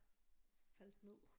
Faldt ned